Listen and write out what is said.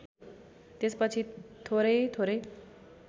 त्यसपछि थोरै थोरै